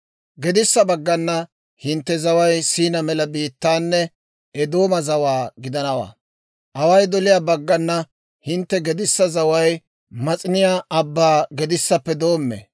Gedissa baggana hintte zaway S'iina mela biittaanne Eedooma zawaa gidanawaa. Away doliyaa baggana hintte gedissa zaway Mas'iniyaa Abbaa gedissappe doommee;